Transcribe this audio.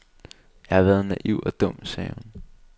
Jeg har været naiv og dum, sagde hun.